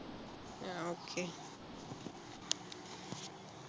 ആഹ് okay